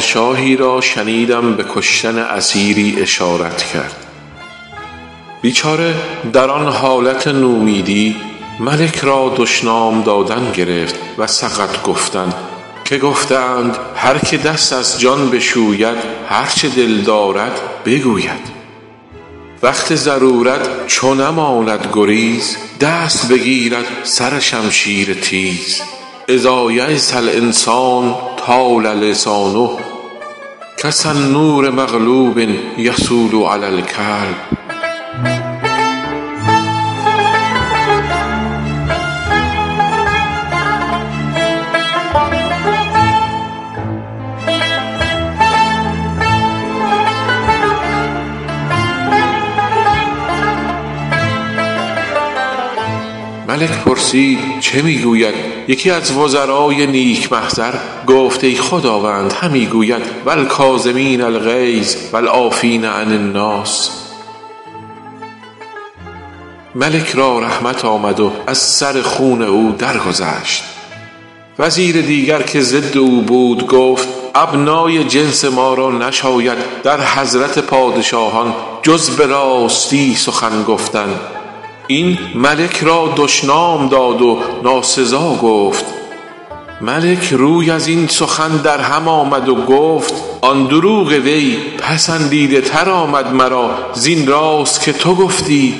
پادشاهی را شنیدم به کشتن اسیری اشارت کرد بیچاره در آن حالت نومیدی ملک را دشنام دادن گرفت و سقط گفتن که گفته اند هر که دست از جان بشوید هر چه در دل دارد بگوید وقت ضرورت چو نماند گریز دست بگیرد سر شمشیر تیز إذا ییس الإنسان طال لسانه کسنور مغلوب یصول علی الکلب ملک پرسید چه می گوید یکی از وزرای نیک محضر گفت ای خداوند همی گوید و الکاظمین الغیظ و العافین عن الناس ملک را رحمت آمد و از سر خون او درگذشت وزیر دیگر که ضد او بود گفت ابنای جنس ما را نشاید در حضرت پادشاهان جز به راستی سخن گفتن این ملک را دشنام داد و ناسزا گفت ملک روی از این سخن در هم آورد و گفت آن دروغ وی پسندیده تر آمد مرا زین راست که تو گفتی